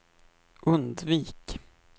undvik